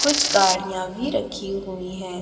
कुछ गाड़ियाॅं भी रखी हुई हैं।